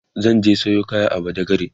zan je Sayo kaya a badagry